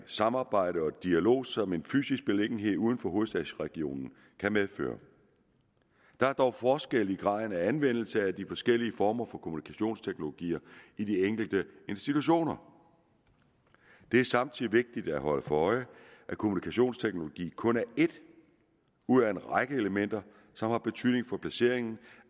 samarbejde og dialog som en fysisk beliggenhed uden for hovedstadsregionen kan medføre der er dog forskel i graden af anvendelse af de forskellige former for kommunikationsteknologier i de enkelte institutioner det er samtidig vigtigt at holde sig for øje at kommunikationsteknologi kun er et ud af en række elementer som har betydning for placeringen